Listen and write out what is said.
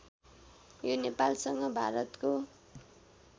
यो नेपालसँग भारतको